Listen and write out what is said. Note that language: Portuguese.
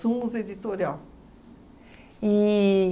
Editorial.